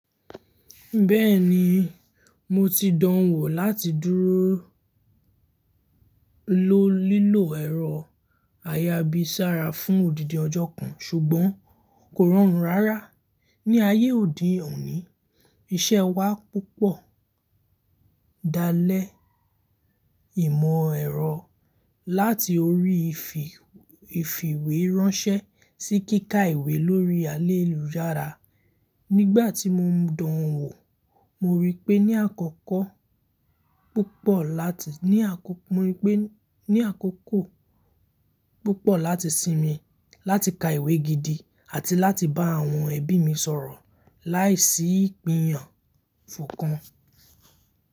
Bẹ́ẹ̀ni, mo ti dánwò láti dúró ló lílò ẹ̀rọ ayábí sára fún òdìdì ọjọ́ kan ṣùgbọ́n kò rọrùn rárá. Ní ayé òní òní iṣẹ́ wa púpọ̀ dalẹ̀ ìmọ̀ ẹ̀rọ láti orí ifi ìfìwé ránṣẹ́ sí kíkà ìwé lórí allélujára. Nígbà tí mo ń dun owò, mo rí pé ní àkọ́kọ́ púpọ̀ láti, ní àkọ́kọ́ púpọ̀ láti sinmi láti ka ìwé gidi àti láti bá àwọn ẹbí mi sọ̀rọ̀ láìsí ìpinyàn fò kan.